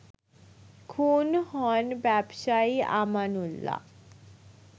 খুন হন ব্যবসায়ী আমানউল্লাহ